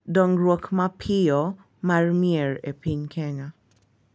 Dongruok mapiyo mar mier e piny Kenya,